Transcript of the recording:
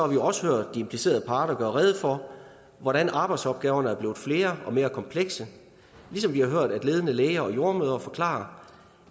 vi også hørt de implicerede parter gøre rede for hvordan arbejdsopgaverne er blevet flere og mere komplekse ligesom vi har hørt ledende læger og jordemødre forklare